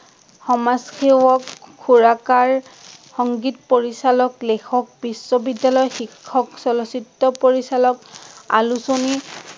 সমাজসেৱক, সুৰকাৰ, সংগীত পৰিচালক, লেখেক, বিশ্ব বিদ্যালয়ৰ শিক্ষক, চলচ্চিত্ৰ পৰিচালক, আলোচনী